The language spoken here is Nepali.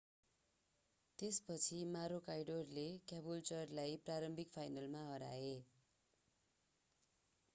त्यसपछि मेरोकाइडोर maroochydoreले क्याबुल्चर क्याबुल्चर cabooltureलाई प्रारम्भिक फाइनलमा हराए।